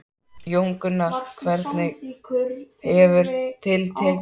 Jón Gunnar, hvernig hefur til tekist?